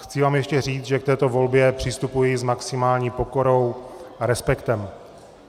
Chci vám ještě říct, že k této volbě přistupuji s maximální pokorou a respektem.